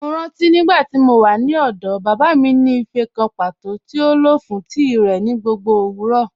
Mọ́ rántí nígbàtí mó wà ní ọ̀dọ̀, baba mi ni ífẹ́̀ kàn pátọ̀ tí o lọ fún tií rẹ ni gbogbo owurọ.